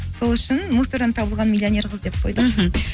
сол үшін мусордан табылған миллионер қыз деп қойдық мхм